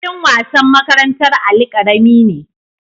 Filin wasan makarantar Ali karami ne